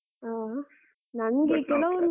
ಆ